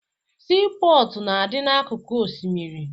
Siipọọtụ na-adị n'akụkụ osimiri